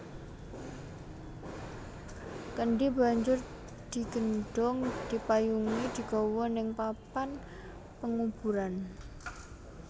Kendhi banjur digendhong dipayungi digawa ning papan penguburan